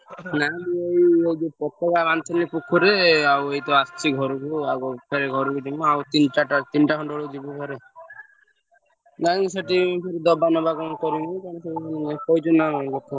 ନା ମୁଁ ଏଇ ହେ ଯଉ ପତକା ବାନ୍ଧୁ ଥେଲି ପୋଖରିରେ ଆଉ ଏଇତ ଆସିଚି ଘରକୁ ଫେରେ ଘରକୁ ଜିମୁ ଆଉ ତିନି , ଚାରି ଟା ତିନି ଟା ଖଣ୍ଡେ ବେଳକୁ ଯିବୁଭାରି। ନାଇଁ କି ସେଠି ଦବା ନବା କରିମି କଣ ସବୁ କହିଛନି ନା ଲୋକ।